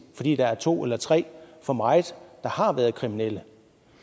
fordi der er to eller tre for meget der har været kriminelle